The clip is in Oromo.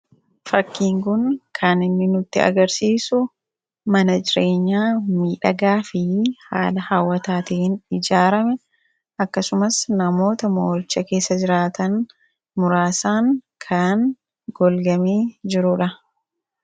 Fakiin kun kan inni nutti agarsiisu mana jireenyaa miidhagaa fi haala hawwataatin ijaarame akkasumas namoota mooricha keessa jiraatan muraasaan kan golgamee jiruudha.